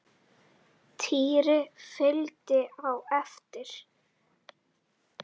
Týri fylgdi á eftir.